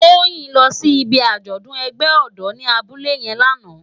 Toyin lò si ibi ájòdùn ègbè òdò ni àbúlé yèn làná